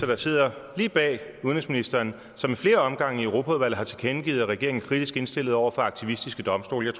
der sidder lige bag udenrigsministeren og som i flere omgange i europaudvalget har tilkendegivet at regeringen er kritisk indstillet over for aktivistiske domstole og